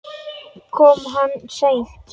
Kom hann seint?